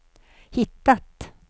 hittat